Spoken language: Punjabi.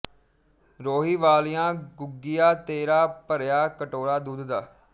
ਰੋਹੀ ਵਾਲਿਆਂ ਗੁੱਗਿਆ ਤੇਰਾ ਭਰਿਆ ਕਟੋਰਾ ਦੁੱਧ ਦਾ